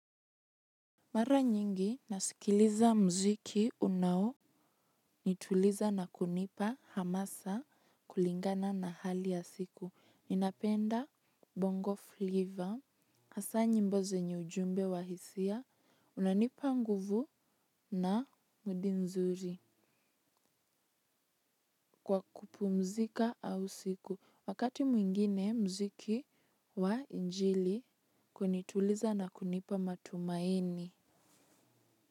Mara nyingi nasikiliza muziki unao nituliza na kunipa hamasa kulingana na hali ya siku. Ninapenda bongo flavor, hasa nyimbo zenye ujumbe wa hisia unanipa nguvu na mudi nzuri kwa kupumzika au siku. Wakati mwingine muziki wa injili kunituliza na kunipa matumaini.